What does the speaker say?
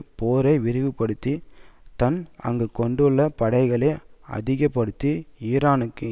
போரை விரிவுபடுத்தி தான் அங்கு கொண்டுள்ள படைகளை அதிக படுத்தி ஈரானுக்கு